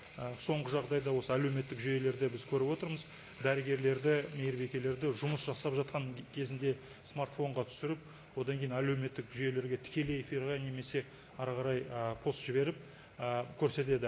ы соңғы жағдайда осы әлеуметтік жүйелерде біз көріп отырмыз дәрігерлерді мейірбикелерді жұмыс жасап жатқан кезінде смартфонға түсіріп одан кейін әлеуметтік жүйелерге тікелей эфирға немесе әрі қарай ы пост жіберіп ы көрсетеді